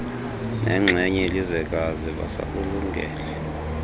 nenxenye yelizwekazi basakulungele